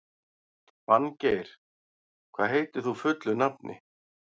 Fanngeir, hvað heitir þú fullu nafni?